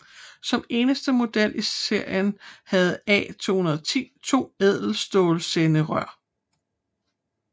Som eneste model i serien havde A 210 to ædelstålsenderør